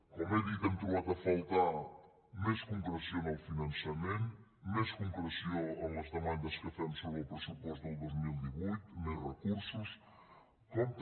com he dit hem trobat a faltar més concreció en el finançament més concreció en les demandes que fem sobre el pressupost del dos mil divuit més recursos com també